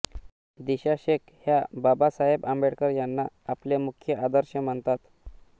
दिशा शेख ह्या बाबासाहेब आंबेडकर यांना आपले मुख्य आदर्श मानतात